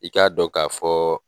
I k'a dɔn ka fɔɔ.